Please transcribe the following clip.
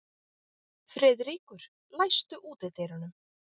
Friðríkur, læstu útidyrunum.